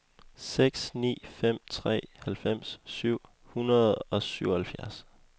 seks ni fem tre halvfems syv hundrede og syvoghalvfjerds